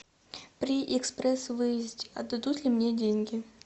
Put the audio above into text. при экспресс выезде отдадут ли мне деньги